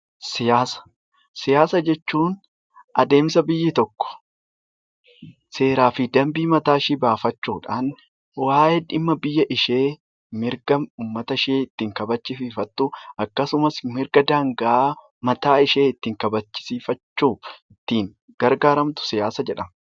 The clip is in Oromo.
Siyaasa jechuun adeemsa biyyi tokko seeraa fi dambii mataa ishii baafachuudhaan waa'ee dhimma biyya ishee, mirga uummatashee ittiin kabachiifattuuf akkasumas mirga daangaa mataa ishee ittiin kabachisiifachuu gargaaramtu siyaasa jedhama.